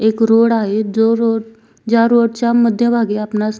एक रोड आहे जो रोड ज्या रोड च्या मध्य भागी आपणास --